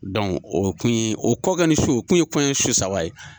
o kun ye o kɔ kɔni ni su kun ye kɔɲɔ su saba ye.